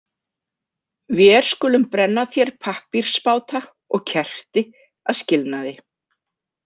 Vér skulum brenna þér pappírsbáta og kerti að skilnaði.